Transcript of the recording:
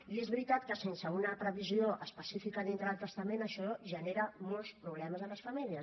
i és veritat que sense una previsió específica dintre del testament això genera molts problemes a les famílies